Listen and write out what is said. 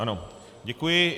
Ano, děkuji.